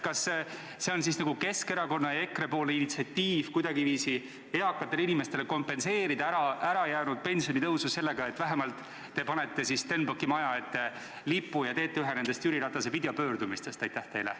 Kas see on nagu Keskerakonna ja EKRE initsiatiiv kuidagiviisi eakatele inimestele kompenseerida ärajäänud pensionitõusu sellega, et vähemalt te panete Stenbocki maja ette lipu ja teete ühe nendest Jüri Ratase videopöördumistest?